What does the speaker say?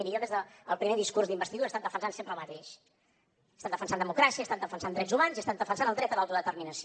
miri jo des del primer discurs d’investidura he estat defensant sempre el mateix he estat defensant democràcia he estat defensant drets humans i he estat defensant el dret a l’autodeterminació